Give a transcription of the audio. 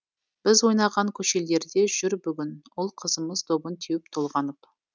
біз ойнаған көшелерде жүр бүгін ұл қызымыз добын теуіп толғанып